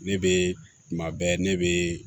Ne bɛ tuma bɛɛ ne bɛ